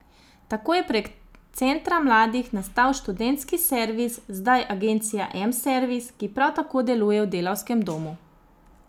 Tako je prek Centra mladih nastal študentski servis, zdaj Agencija M servis, ki prav tako deluje v Delavskem domu.